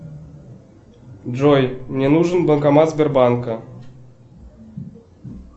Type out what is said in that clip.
джой мне нужен банкомат сбербанка